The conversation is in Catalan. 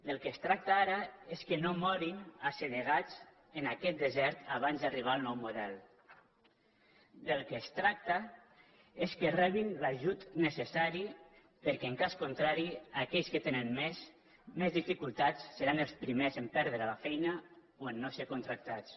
del que es tracta ara és que no morin assedegats en aquest desert abans d’arribar al nou model del que es tracta és que rebin l’ajut necessari perquè en cas contrari aquells que te·nen més dificultats seran els primers a perdre la feina o a no ser contractats